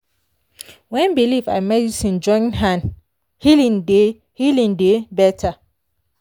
when belief and medicine join hand healing dey healing dey better.